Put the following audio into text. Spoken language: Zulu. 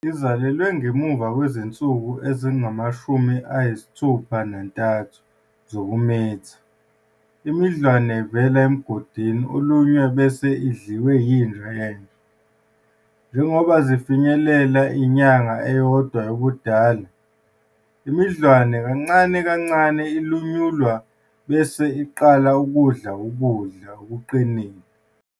Izalelwe ngemuva kwezinsuku ezingama-63 zokumitha, imidlwane ivela emgodini olunywe bese idliwe yinja yenja. Njengoba zifinyelela inyanga eyodwa yobudala, imidlwane kancane kancane ilunyulwa bese iqala ukudla ukudla okuqinile.